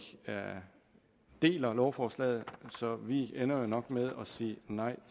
deler lovforslaget så vi ender nok med at sige nej